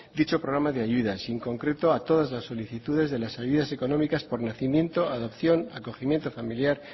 dicho programa de ayudas y en concreto a todas las solicitudes de las ayudas económicas por nacimiento adopción acogimiento familiar